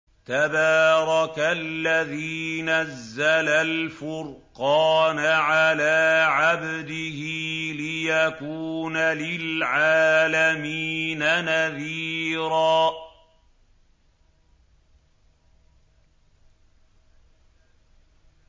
تَبَارَكَ الَّذِي نَزَّلَ الْفُرْقَانَ عَلَىٰ عَبْدِهِ لِيَكُونَ لِلْعَالَمِينَ نَذِيرًا